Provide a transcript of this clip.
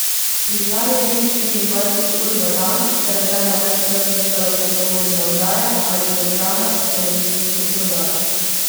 Prižgan je bil štiriindvajset ur na dan, saj je žena ves čas gledala pogovorne oddaje ali programe s televizijsko prodajo.